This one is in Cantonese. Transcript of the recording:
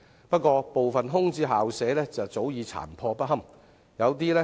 不過，部分空置校舍早已殘破不堪。